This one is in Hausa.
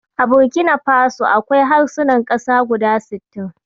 A Burkina faso, akwai harsunan ƙasa guda sittin.